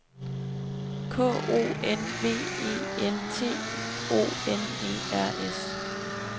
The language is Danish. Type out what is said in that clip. K O N V E N T I O N E R S